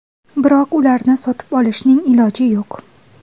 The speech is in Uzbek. Biroq ularni sotib olishning iloji yo‘q.